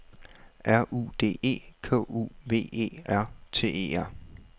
R U D E K U V E R T E R